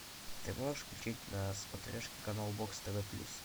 ты можешь включить на смотрешке канал бокс тв плюс